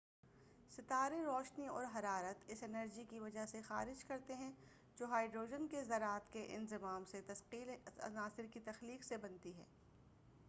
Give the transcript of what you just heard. ستارے روشنی اور حرارت اس انرجی کی وجہ سےخارج کرتے ہیں جو ہائڈروجن کے ذرات کے انضمام سے ثقیل عناصر کی تخلیق سے بنتی ہے